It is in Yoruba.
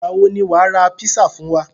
Ìgbà wo ni wàá ra písà fún wa?